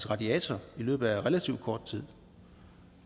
radiator i løbet af relativt kort tid